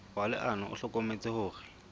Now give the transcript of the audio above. wa leano o hlokometse hore